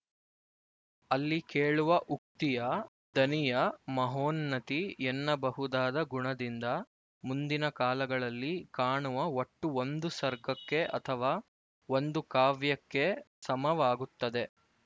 ಅಲ್ಲಿ ಕೇಳುವ ಉಕ್ತಿಯ ದನಿಯ ಮಹೋನ್ನತಿ ಎನ್ನಬಹುದಾದ ಗುಣದಿಂದ ಮುಂದಿನ ಕಾಲಗಳಲ್ಲಿ ಕಾಣುವ ಒಟ್ಟು ಒಂದು ಸರ್ಗಕ್ಕೆ ಅಥವಾ ಒಂದುಕಾವ್ಯಕ್ಕೇ ಸಮವಾಗುತ್ತದೆ